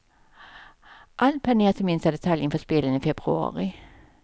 Allt planeras i minsta detalj inför spelen i februari.